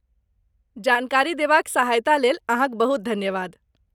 जानकारी देबाक सहायतालेल अहाँक बहुत धन्यवाद।